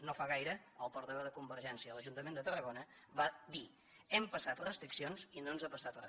no fa gaire el portaveu de convergència a l’ajuntament de tarragona va dir hem passat restriccions i no ens ha passat re